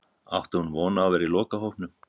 Átti hún von á að vera í lokahópnum?